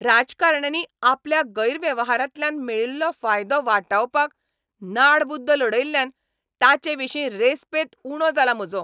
राजकारण्यांनी आपल्या गैरवेव्हारांतल्यान मेळिल्लो फायदो वाटावपाक नाडबुद्द लडयल्ल्यान तांचेविशीं रेस्पेत उणो जाला म्हजो.